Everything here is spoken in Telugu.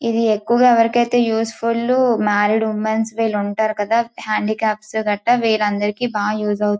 ఇది ఎక్కువగా ఎవరికైతే useful married ladies handicapped వాళ్లకి బాగా యూస్ ఫుల్ .